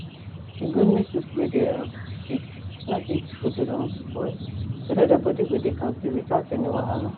e good make people wey dey um sick no eat food wey don spoil so that their body go dey kampe without any wahala